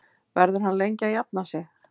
Verður hann lengi að jafna sig?